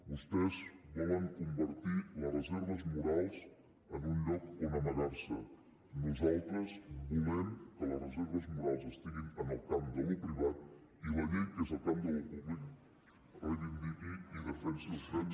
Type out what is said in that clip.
vostès volen convertir les reserves morals en un lloc on amagar se nosaltres volem que les reserves morals estiguin en el camp del privat i que la llei que és en el camp del públic reivindiqui i defensi els drets